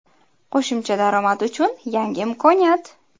Qo‘shimcha daromad uchun yangi imkoniyat.